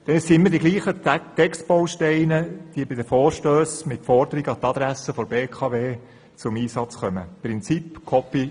Es sind immer dieselben Textbausteine, die bei Vorstössen mit Forderungen an die Adresse der BKW zum Einsatz kommen, nach dem Prinzip «copy-paste».